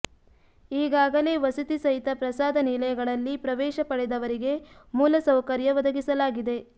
ಈಗಾಗಲೇ ವಸತಿ ಸಹಿತ ಪ್ರಸಾದ ನಿಲಯಗಳಲ್ಲಿ ಪ್ರವೇಶ ಪಡೆದವರಿಗೆ ಮೂಲ ಸೌಕರ್ಯ ಒದಗಿಸಲಾಗಿದೆ